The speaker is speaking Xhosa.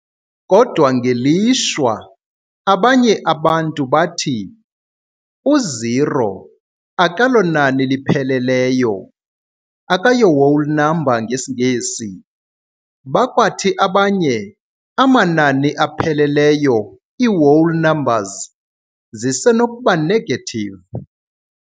Kodwa ngelishwa, abanye abantu bathi u-O akalonani lipheleleyo akayo-whole number, ngesiNgesi, bakwathi abanye amanani apheleleyo iiwhole numbers zisenokuba negative.